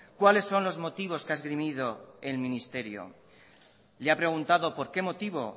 cuáles son los motivos que ha esgrimido el ministerio le ha preguntado por qué motivo